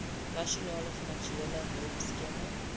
nasionale finansiële hulpskema